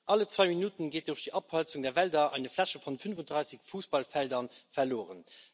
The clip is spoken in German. Alle zwei Minuten geht durch die Abholzung der Wälder eine Fläche von 35 Fußballfeldern verloren.